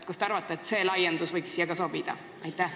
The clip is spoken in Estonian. Kas te arvate, et selline laiendus võiks siia ka sobida?